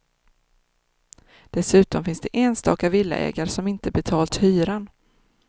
Dessutom finns det enstaka villaägare som inte betalt hyran.